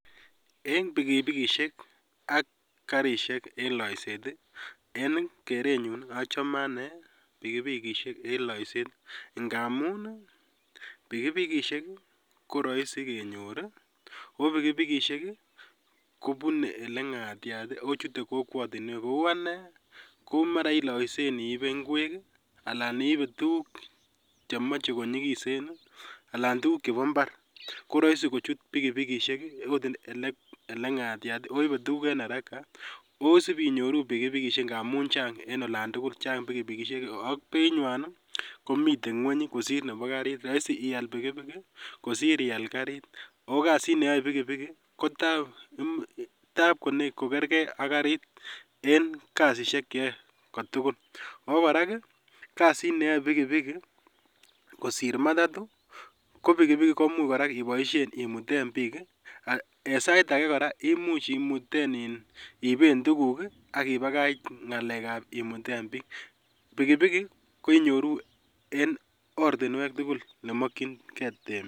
En pikipikisiek ak karisiek en loiseet en kerenyun achomee anee pikipikishek ngamun pikipikishek koroisi kenyor ii, oo pikipikishek kobunee ole ng'atiat ii, akochute kokwotinwek kou anee komara ii loisen iibe ngwek alan iibe tuguk chemoche konyikisen alan tuguk chebo mbar koroisi kochut pikipikisiek okot ele ng'atiat oibe tuguk en haraka osip inyoru pikipikishek ngamun chang en olan tugul chang pikipikishek ak beinywan komiten ngweny kosir nebo karit roisi ial pikipiki kosir ial karit ako kasit neyo pikipiki kotap kokerkee aak karit en kasisiek cheyoe kotugul, okora kasit neyoe pikipiki kosir matatu ko pikipiki komuch korak iboisien imuten biik en sait akee koraa komuch iiben tuguk ak ibakach ng'alekab imuten biik, pikipiki ko inyoru en ortinwek tugul nemokyingee temik.